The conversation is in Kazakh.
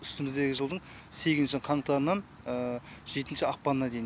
үстіміздегі жылдың сегізінші қаңтарынан жетінші ақпанына дейін